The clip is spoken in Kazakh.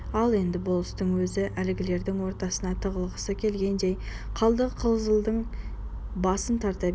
ал енді болыстың өзі әлгілердің ортасына тығылғысы келгендей қалдықызылдың басын тарта берді